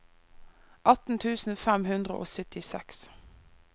atten tusen fem hundre og syttiseks